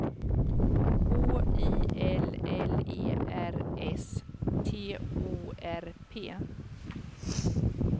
H I L L E R S T O R P